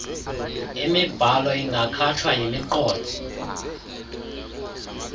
mibhalo ingakhatshwa yimiqolo